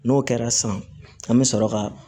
N'o kɛra sisan an bɛ sɔrɔ ka